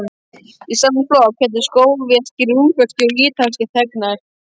Í sama flokk féllu sovéskir, ungverskir og ítalskir þegnar.